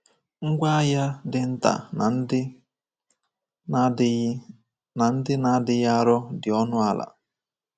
Ngwá agha dị nta na ndị na-adịghị na ndị na-adịghị arọ dị ọnụ ala.